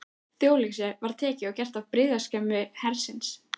Þjóðleikhúsið var tekið og gert að birgðaskemmu hersins.